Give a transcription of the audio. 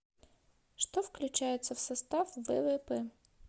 что включается в состав ввп